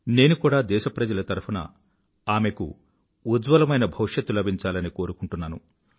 నేను కూడా దేశప్రజల తరఫున ఆమెకు ఉజ్వలమైన భవిష్యత్తు లభించాలని కోరుకుంటున్నాను